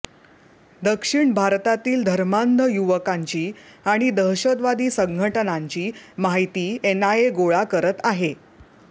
दक्षिण भअरतातील धर्मांध युवकांची अणि दहशतवादी संघटनांची माहिती एनआयए गोळा करत आहे